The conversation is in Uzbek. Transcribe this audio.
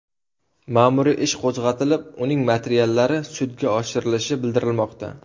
Ma’muriy ish qo‘zg‘atilib, uning materiallari sudga oshirilishi bildirilmoqda.